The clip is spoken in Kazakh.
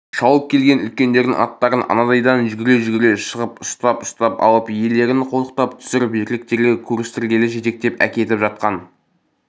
шауып келген үлкендердің аттарын анадайдан жүгіре-жүгіре шығып ұстап-ұстап алып иелерін қолтықтап түсіріп еркектерге көрістіргелі жетектеп әкетіп жатқан